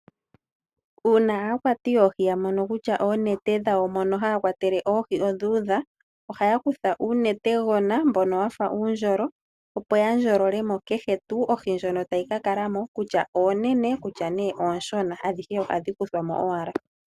Uuna aakwati yoohi ya mono kutya oonete dhawo mono haya kwatele oohi odhuudha ohaya kutha uunete gona mbono wafa uundjolo, opo ya ndjololemo oohi kehe dhilimo kutya ne oonene nengè ooshona.